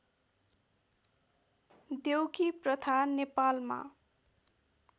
देउकी प्रथा नेपालमा